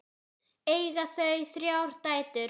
Eiga þau þrjár dætur.